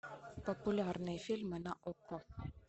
популярные фильмы на окко